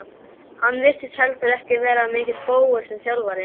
Hann virtist heldur ekki vera mikill bógur sem þjálfari.